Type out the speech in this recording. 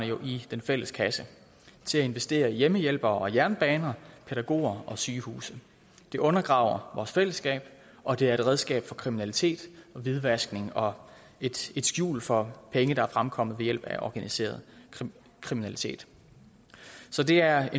jo i den fælles kasse til at investere i hjemmehjælpere og jernbaner pædagoger og sygehuse det undergraver vores fællesskab og det er et redskab for kriminalitet og hvidvaskning og et skjul for penge der er fremkommet ved hjælp af organiseret kriminalitet så det er